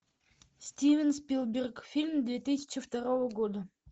стивен спилберг фильм две тысячи второго года